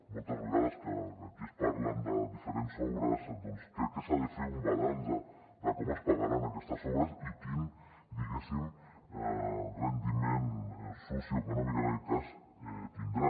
moltes vegades que aquí es parla de diferents obres doncs crec que s’ha de fer un balanç de com es pagaran aquestes obres i quin diguéssim rendiment socioeconòmic en aquest cas tindran